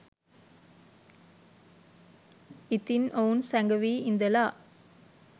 ඉතින් ඔවුන් සැඟවී ඉදලා